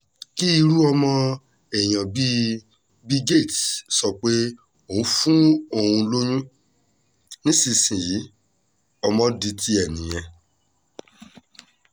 kí irú ọmọ èèyàn bíi bill gates sọ pé ó fún òun lóyún nísìnyìí ọmọ di tiẹ̀ nìyẹn